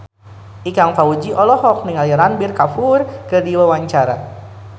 Ikang Fawzi olohok ningali Ranbir Kapoor keur diwawancara